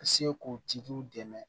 Se k'u tigiw dɛmɛ